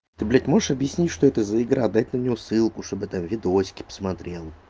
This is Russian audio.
ты блять можешь объяснить что это за игра дать на него ссылку чтобы там видосики посмотрел